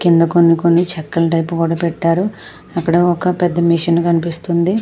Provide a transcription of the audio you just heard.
కింద కొన్ని కొన్ని చెక్కల టైపు కూడా పెట్టారు అక్కడ ఒక మెషిన్ కనిపిస్తుంది.